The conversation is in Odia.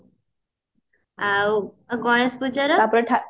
ଆଉ ଆଉ ଗଣେଶ ପୂଜା ର